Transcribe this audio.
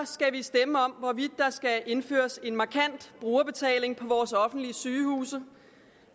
skal vi stemme om hvorvidt der skal indføres en markant brugerbetaling på vores offentlige sygehuse